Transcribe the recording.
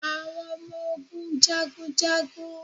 Awọn ọmọ ogun jagun jagun.